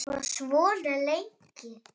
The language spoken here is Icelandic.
Vá, svona lengi?